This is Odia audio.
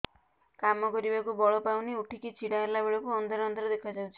କାମ କରିବାକୁ ବଳ ପାଉନି ଉଠିକି ଛିଡା ହେଲା ବେଳକୁ ଅନ୍ଧାର ଅନ୍ଧାର ଦେଖା ଯାଉଛି